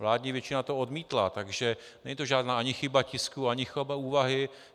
Vládní většina to odmítla, takže není to žádná ani chyba tisku, ani chyba úvahy.